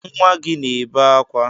Nwa gị na-ebe akwa